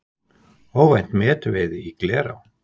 Óvænt metveiði í Glerá